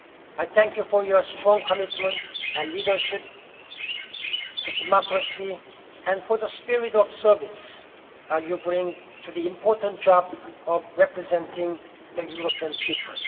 I thank you for your strong commitment to and leadership in democracy and for the spirit of service you bring to the important job of representing the European